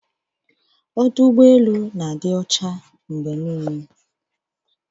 Ọdụ ụgbọ elu na-adị ọcha mgbe niile.